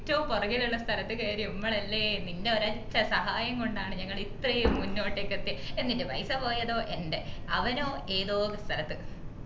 ഏറ്റോം പൊറകിൽ ഉള്ള സ്ഥലത്തു കേറിയ മ്മളല്ലേ നിന്റെ ഒരൊറ്റ സഹായംകൊണ്ടാണ് ഞങ്ങൾ ഇത്രേം മുന്നോട്ടേക്ക് എത്തിയെ എന്നിട്ട് പൈസ പോയതോ എൻ്റെ അവനോ ഏതോ സ്ഥലത്തു